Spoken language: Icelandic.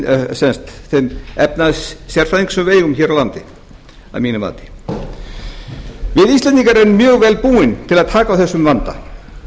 með þeim efnahagssérfræðingum sem við eigum hér á landi að mínu mati við íslendingar erum mjög vel búin til að taka á þessum vanda